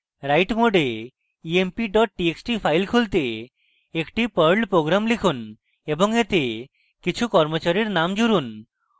write mode emp txt file খুলতে একটি perl program লিখুন এবং এতে কিছু কর্মচারীর names জুড়ুন